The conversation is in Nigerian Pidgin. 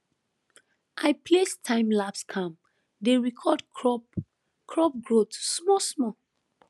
i place timelapse cam dey record crop crop growth smallsmall